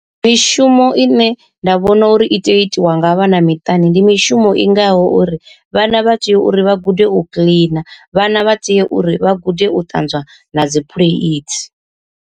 Mishumo ine nda vhona uri i tea u itiwa nga vhana miṱani, ndi mishumo i ngaho uri vhana vha tea uri vha gude u kiḽina vhana vha tea uri vha gude u ṱanzwa na dzi phuleithi.